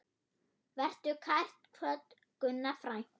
Vertu kært kvödd, Gunna frænka.